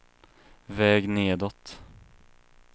väg nedåt